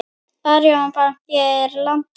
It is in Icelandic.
Arion banki á landið.